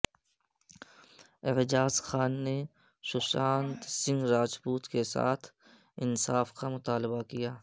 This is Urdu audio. اعجاز خان نے ششانت سنگھ راجپوت کے ساتھ انصاف کامطالبہ کیا